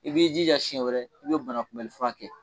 I b'i jija siɲɛ wɛrɛ i banakunbɛlifura kɛ.